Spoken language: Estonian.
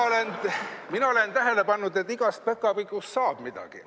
Mina olen tähele pannud, et igast päkapikust saab midagi.